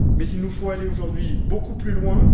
Mais il nous faut aller aujourd'hui beaucoup plus loin.